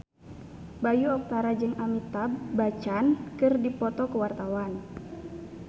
Bayu Octara jeung Amitabh Bachchan keur dipoto ku wartawan